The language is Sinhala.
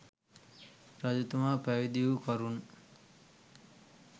රජතුමා පැවිදි වූ කරුණ